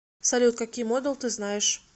салют какие модал ты знаешь